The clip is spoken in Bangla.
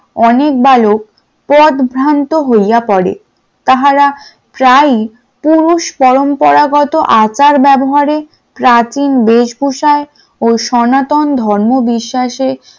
অনেক বালক পথ ভ্রান্ত হইয়া পড়েন তাহারা প্রায়ই পুরুষ পরম্পরা গত আচার ব্যবহারে প্রাচীন বেশভূষা ও সনাতন ধর্ম বিশ্বাসে,